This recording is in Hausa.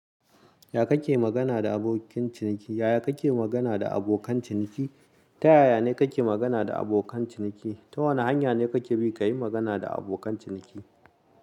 Ya kake magana da abokin ciniki? Yaya kake magana da abokan ciniki? Ta yaya ne kake magana da abokan ciniki? Ta wane hanya ne kake bi ka yi magana da abokan ciniki?